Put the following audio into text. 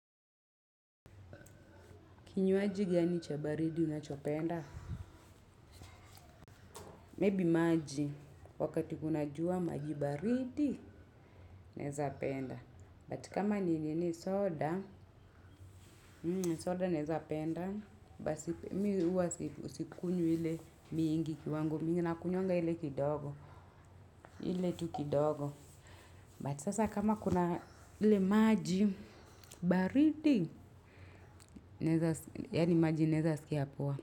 Kinywaji gani cha baridi unachopenda? Maybe maji, wakati kuna jua maji baridi nweza penda. But kama ni nini soda, soda naeza penda, basi mi huwa sikunywi ile mingi kiwango mingi, na kunywanga ile kidogo, ile tu kidogo. But sasa kama kuna ile maji baridi, yani maji naeza sikia poa.